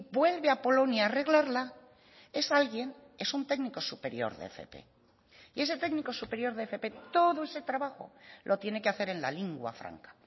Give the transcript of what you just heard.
vuelve a polonia a arreglarla es alguien es un técnico superior de fp y ese técnico superior de fp todo ese trabajo lo tiene que hacer en la lingua franca